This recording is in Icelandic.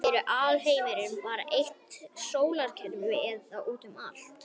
er alheimurinn bara eitt sólkerfi eða útum allt